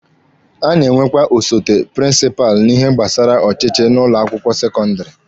A na-enwekwa osote prịnsịpalụ n'ihe gbasara ọchịchị n'ụlọ akwụkwọ sekọndịrị.